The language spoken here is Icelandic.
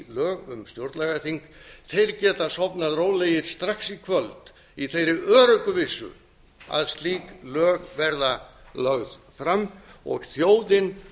um stjórnlagaþing þeir geta sofnað rólegir strax í kvöld í þeirri öruggu vissu að slík lög verða lögð fram og þjóðin